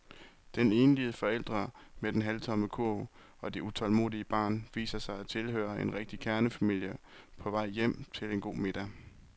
Den enlige forælder med den halvtomme kurv og det utålmodige barn viser sig at tilhøre en rigtig kernefamilie på vej hjem til en god middag.